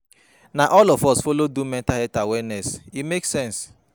Na all of us folo do di mental health awareness, e make sense.